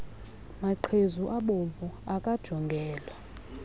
maqhezu abomvu akajongelwa